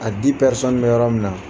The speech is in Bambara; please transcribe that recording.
A bɛ yɔrɔ min na